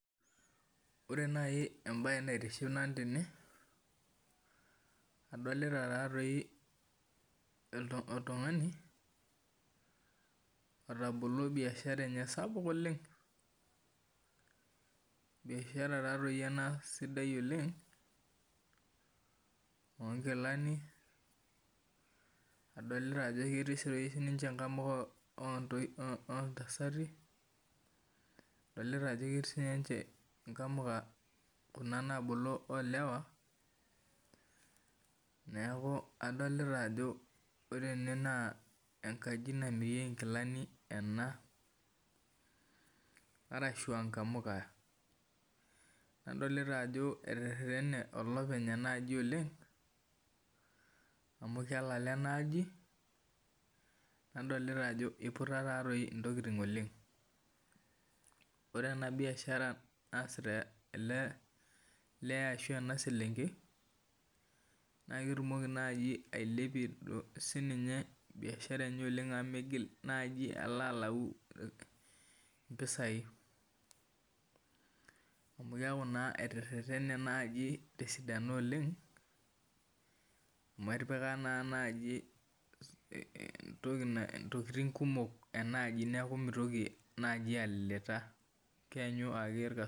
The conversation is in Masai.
Ore nai embae naitiship tene adolita oltungani otabolo biashara enye sapuk oleng biashara ena sidai oleng onkilani adolta ajo ketii namuka ontasati adolta ajo ketii namuka nabolo olewa neaku adolta ajo ore ene na enkaji namirieki nkilani ena ashu a namuka, adolta ajo eterene olopeny enaaji amu kelala adolta ajo iputa ntokitin oleng ore ena biashara naasita ele lee ashu enaselenkei na ketumoki ailepie sininye biashara amu migilbalo alau mpisai amu keaku na eteretene tesidano oleng amu etipika ntokitin kumok neaku migil alilita keanyu irkas.